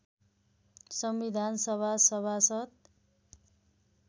संविधान सभा सभासद